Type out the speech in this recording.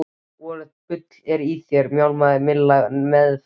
Voðalegt bull er í þér mjálmaði Milla nefmælt.